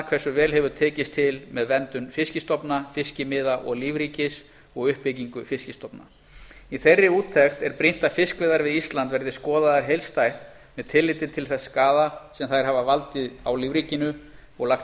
hversu vel hefur tekist til með verndun fiskistofu fiskimiða og lífríkis og uppbyggingu fiskistofu í þeirri úttekt er brýnt að fiskveiðar við ísland verði skoðaðar heildstætt með tilliti til þess skaða sem þær hafa valdið á lífríkinu og lagt